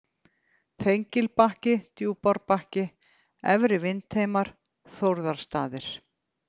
Þengilbakki, Djúpárbakki, Efri-Vindheimar, Þórðarstaðir